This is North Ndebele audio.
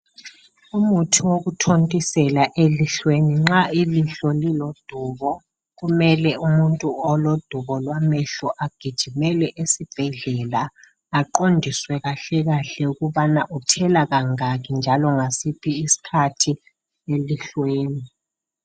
Umuthi wokuthontisela elihlweni nxa llilihlo lilodubo kumele umuntu olodubo lwamehlo agijimele esibhedlela aqondiswe kahlekahle ukuthi uthela kangaki njalo ngasiphi isikhathi elihlweni .